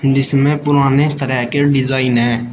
जिसमें पुराने तरह के डिजाइन हैं।